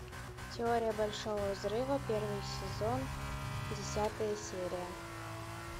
теория большого взрыва первый сезон десятая серия